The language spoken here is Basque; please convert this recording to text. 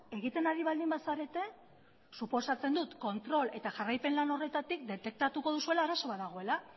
egiten ari baldin bazarete suposatzen dut kontrol eta jarraipen lan horretatik detektatuko duzuela arazo bat dagoela